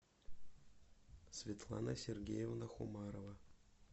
светлана сергеевна хумарова